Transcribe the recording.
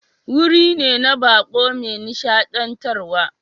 Wuri ne na baƙo mai nishadantarwa.